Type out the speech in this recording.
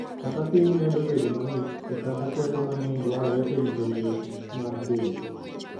Kaka piny medo bedo mang'ich, e kaka teko mang'eny dwarore e rito liet mar del.